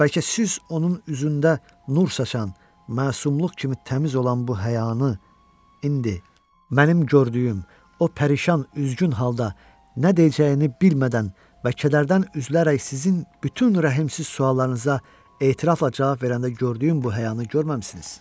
Bəlkə siz onun üzündə nur saçan, məsumluq kimi təmiz olan bu həyanı indi mənim gördüyüm, o pərişan, üzgün halda nə deyəcəyini bilmədən və kədərdən üzülərək sizin bütün rəhimsiz suallarınıza etirafla cavab verəndə gördüyüm bu həyanı görməmisiniz?